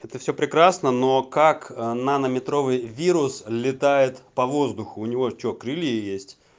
это все прекрасно но как ээ нанометровый вирус летает по воздуху у него что крылья есть